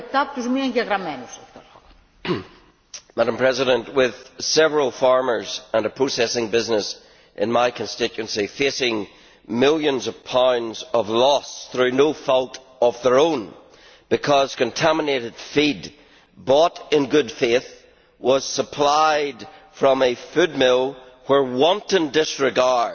Madam President, several farmers and a processing business in my constituency face millions of pounds of loss through no fault of their own because contaminated feed bought in good faith was supplied from a food mill where wanton disregard